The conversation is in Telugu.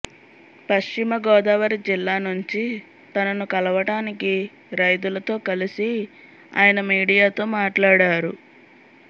పశ్చిమ గోదావరి జిల్లా నుంచి తనను కలవటానికి రైతులతో కలిసి ఆయన మీడియాతో మాట్లాడారు